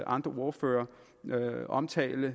andre ordførere omtale